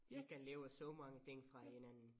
Man kan lave så mange ting fra hinanden